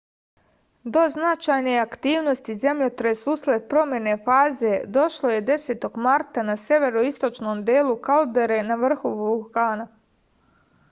do značajne aktivnosti zemljotres usled promene faze došlo je 10. marta na severoistočnom delu kaldere na vrhu vulkana